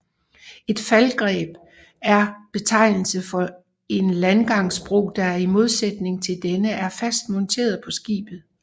Et Faldereb er betegnelse for en landgangsbro der i modsætning til denne er fast monteret på skibet